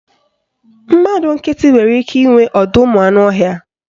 Mmadụ nkịtị nwere ike inwe ọdọụmụanụọhịa